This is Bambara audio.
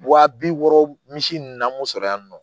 Wa bi wɔɔrɔ misi nunnu na an b'u sɔrɔ yan nɔ